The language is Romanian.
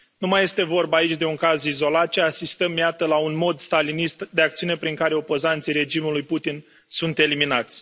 Nu mai este vorba aici de un caz izolat, ci asistăm, iată, la un mod stalinist de acțiune prin care opozanții regimului Putin sunt eliminați.